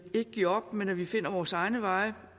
ikke giver op men at vi finder vores egne veje